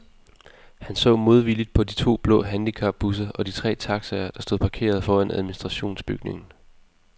Han så modvilligt på de to blå handicapbusser og de tre taxaer, der stod parkeret foran administrationsbygningen.